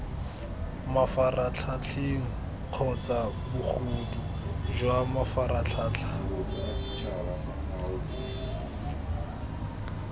mafaratlhatlheng kgotsa bogodu jwa mafaratlhatlha